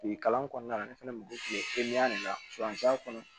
Kile kalan kɔnɔna la ne fana mako bɛ kilegan de la sɔ kɔnɔ